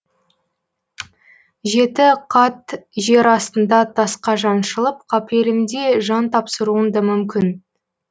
жеті қат жер астында тасқа жаншылып қапелімде жан тапсыруың да мүмкін